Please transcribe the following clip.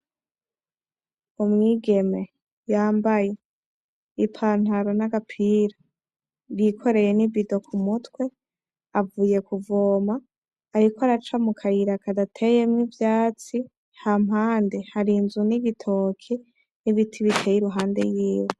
Umwigeme, yambaye i pantalo nagapira yikoreye nibido kumutwe, avuye kuvoma. Ariko araca mukayira kadateyemwo ivyatsi. Hampande hari inzu nibitoke, nibiti biteye iruhande yiwe.